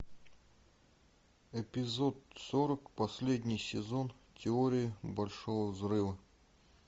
эпизод сорок последний сезон теории большого взрыва